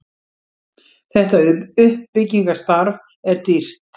þetta uppbyggingarstarf er dýrt